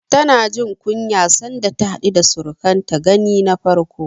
Tana jin kunya sanda ta haɗu da surukanta gani na farko.